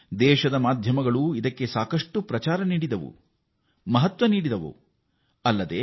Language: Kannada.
ದೇಶದ ಮಾಧ್ಯಮಗಳು ಇದಕ್ಕೆ ವ್ಯಾಪಕ ಪ್ರಚಾರವನ್ನೂ ನೀಡಿವೆ ಮತ್ತು ಅದರ ಮಹತ್ವವನ್ನೂ ಸಾರಿವೆ